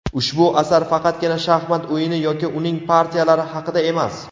Ushbu asar faqatgina shaxmat o‘yini yoki uning partiyalari haqida emas.